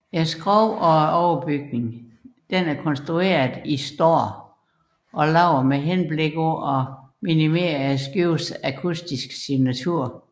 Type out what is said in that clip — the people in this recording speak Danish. Skroget og overbygningen er konstrueret i står og lavet med henblik på at minimere skibenes akustiske signatur